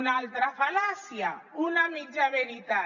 una altra fal·làcia una mitja veritat